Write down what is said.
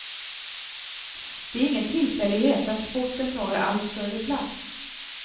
Det är ingen tillfällighet att sporten tar allt större plats.